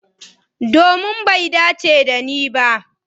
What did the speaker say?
Domin bai dace dani ba.